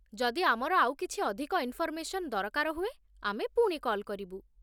ଯଦି ଆମର ଆଉ କିଛି ଅଧିକ ଇନ୍ଫର୍ମେସନ୍ ଦରକାର ହୁଏ, ଆମେ ପୁଣି କଲ୍ କରିବୁ।